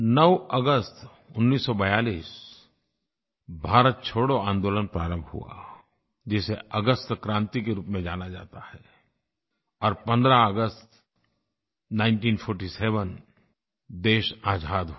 9 अगस्त 1942 भारत छोड़ो आन्दोलन प्रारंभ हुआ जिसे अगस्त क्रांति के रूप में जाना जाता है और 15 अगस्त 1947 देश आज़ाद हुआ